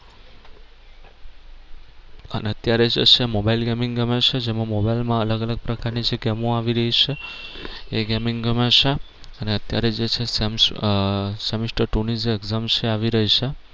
અને અત્યારે જે છે mobile gaming ગમે છે જેમાં મોબાઈલ માં અલગ અલગ પ્રકાર ની જે ગેમો આવી રહી છે એ gaming ગમે છે અને અત્યારે જે છે સેમ આહ semester two ની જે exam છે એ આવી રહી છે.